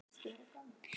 Fjögur börn fermd.